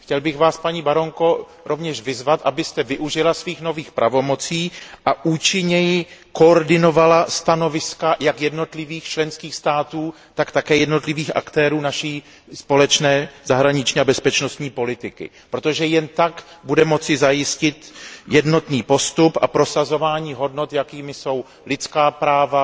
Chtěl bych Vás, paní baronko, rovněž vyzvat, abyste využila svých nových pravomocí a účinněji koordinovala stanoviska jak jednotlivých členských států, tak také jednotlivých aktérů naší společné zahraniční a bezpečnostní politiky, protože jen tak budeme moci zajistit jednotný postup a prosazování hodnot, jakými jsou lidská práva,